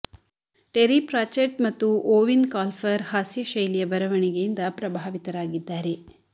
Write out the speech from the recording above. TERI Pratchett ಮತ್ತು Eoin Colfer ಹಾಸ್ಯ ಶೈಲಿಯ ಬರವಣಿಗೆಯಿಂದ ಪ್ರಭಾವಿತರಾಗಿದ್ದಾರೆ